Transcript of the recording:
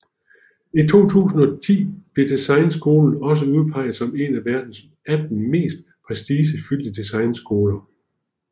I 2010 blev Designskolen også udpeget som en af verdens 18 mest prestigefyldte designskoler